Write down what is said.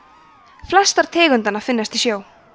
flestar tegundanna finnast í sjó